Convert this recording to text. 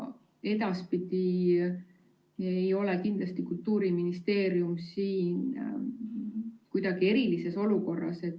Kultuuriministeerium ei ole edaspidi siin kindlasti kuidagi erilises olukorras.